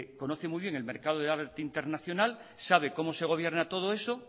conoce muy bien el mercado de la vertiente internacional sabe cómo se gobierna todo eso